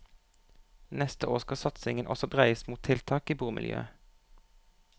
Neste år skal satsingen også dreies mot tiltak i bomiljøet.